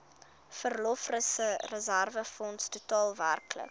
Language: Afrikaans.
verlofreserwefonds totaal werklik